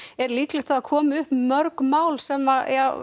er líklegt að það komi upp mörg mál sem